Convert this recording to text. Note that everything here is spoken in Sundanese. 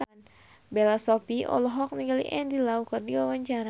Bella Shofie olohok ningali Andy Lau keur diwawancara